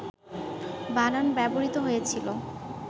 বানান ব্যবহৃত হয়েছিল,